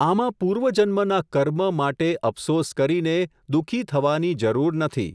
આમાં પૂર્વજન્મના કર્મ, માટે અફસોસ કરીને, દુઃખી થવાની જરૂર નથી.